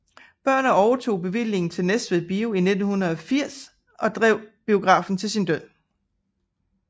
Børner overtog bevillingen til Næstved Bio i 1940 og drev biografen til sin død